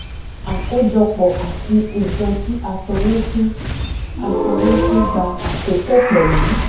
àkójọpọ àti nkan tí a sanwó fún a sanwó fún gbà àkókò pẹlú